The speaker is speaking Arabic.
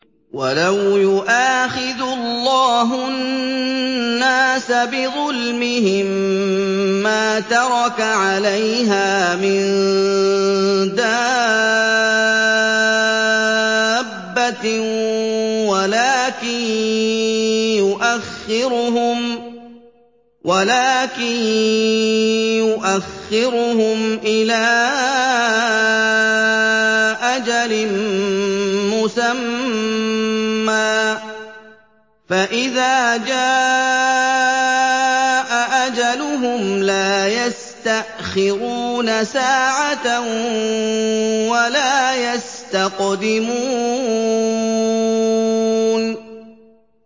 وَلَوْ يُؤَاخِذُ اللَّهُ النَّاسَ بِظُلْمِهِم مَّا تَرَكَ عَلَيْهَا مِن دَابَّةٍ وَلَٰكِن يُؤَخِّرُهُمْ إِلَىٰ أَجَلٍ مُّسَمًّى ۖ فَإِذَا جَاءَ أَجَلُهُمْ لَا يَسْتَأْخِرُونَ سَاعَةً ۖ وَلَا يَسْتَقْدِمُونَ